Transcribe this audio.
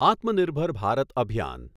આત્મનિર્ભર ભારત અભિયાન